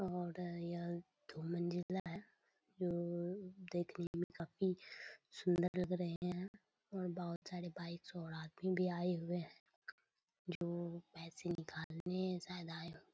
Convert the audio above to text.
दो मंजिला है जो देखने में काफी सुन्दर लग रहे है बहुत सारे बाइक और आदमी भी आए हुए है जो पैसे निकलने शायद आए है।